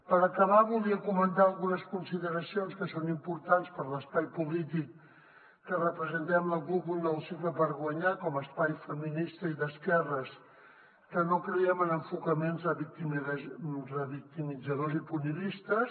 per acabar volia comentar algunes consideracions que són importants per l’espai polític que representem la cup un nou cicle per guanyar com a espai feminista i d’esquerres que no creiem en enfocaments revictimitzadors i punitivistes